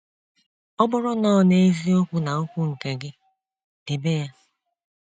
Ọbụrụ nọ neziokwu na okwu nke gị, dibe ya